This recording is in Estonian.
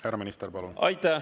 Härra minister, palun!